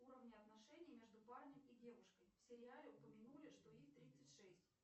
уровни отношений между парнем и девушкой в сериале упомянули что их тридцать шесть